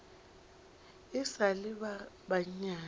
e sa le ba banyane